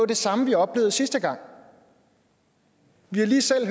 det samme vi oplevede sidste gang vi har lige selv